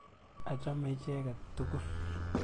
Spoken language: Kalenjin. Achame icheket tukul.